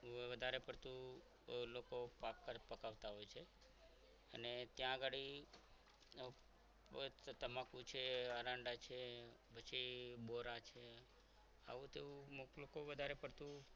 લોકો પાક પકવતા હોય છે અને ત્યાં ઘડી તમાકુ છે એરંડા છે પછી બોરા છે આવું તેવું લોકો વધારે પડતું